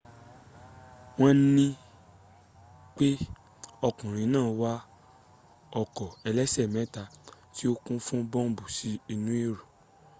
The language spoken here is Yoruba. won nipe okunrin naa wa oko elese meta ti o kun fun bombu si inu ero